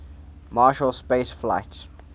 marshall space flight